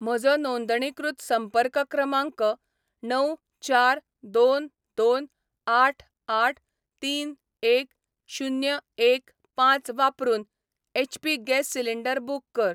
म्हजो नोंदणीकृत संपर्क क्रमांक णव चार दोन दोन आठ आठ तीन एक शुन्य एक पांच वापरून एचपी गॅस सिलेंडर बुक कर.